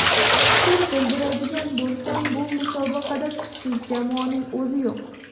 Fikr bildiradigan bo‘lsam, bu musobaqada kuchsiz jamoaning o‘zi yo‘q.